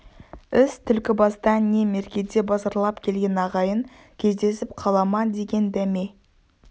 іс түлкібастан не меркеде базарлап келген ағайын кездесіп қала ма деген дәме